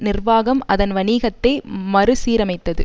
நிர்வாகம் அதன் வணிகத்தை மறுசீரமைத்தது